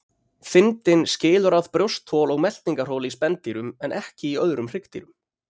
Þindin skilur að brjósthol og meltingarhol í spendýrum en ekki í öðrum hryggdýrum.